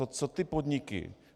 A co ty podniky?